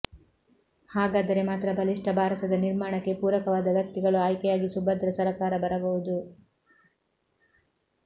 ಹಾಗಾದರೆ ಮಾತ್ರ ಬಲಿಷ್ಠ ಭಾರತದ ನಿರ್ಮಾಣಕ್ಕೆ ಪೂರಕವಾದ ವ್ಯಕ್ತಿಗಳು ಆಯ್ಕೆಯಾಗಿ ಸುಭದ್ರ ಸರಕಾರ ಬರಬಹುದು